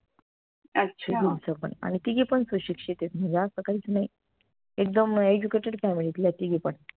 आनि तिघी पन सुशिक्षित आहेत म्हणजे असं काईच नाई एकदम educated family तल्या आहेत तिघी पन